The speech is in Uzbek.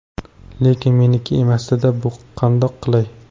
Lekin meniki emasdi-da bu, qandoq qilay?!